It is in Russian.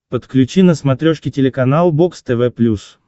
подключи на смотрешке телеканал бокс тв плюс